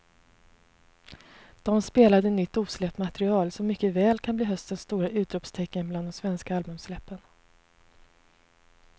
De spelade nytt osläppt material som mycket väl kan bli höstens stora utropstecken bland de svenska albumsläppen.